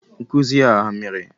Nkuzi a ha mere?